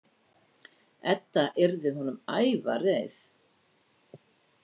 Edda yrði honum æfareið.